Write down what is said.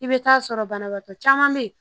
I bɛ taa sɔrɔ banabaatɔ caman bɛ yen